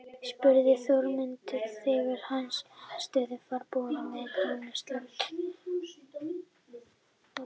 spurði Þórmundur þegar hann stóð ferðbúinn með Grána söðlaðan á götunni framan við Hótel Reykjavík.